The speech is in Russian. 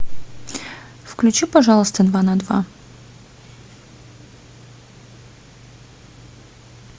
включи пожалуйста два на два